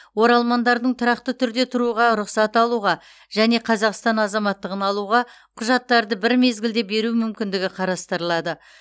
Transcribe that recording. оралмандардың тұрақты түрде тұруға рұқсат алуға және қазақстан азаматтығын алуға құжаттарды бір мезгілде беру мүмкіндігі қарастырылады